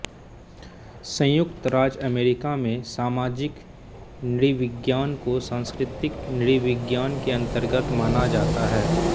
संयुक्त राज्य अमेरिका में सामाजिक नृविज्ञान को सांस्कृतिक नृविज्ञान के अन्तर्गत माना जाता है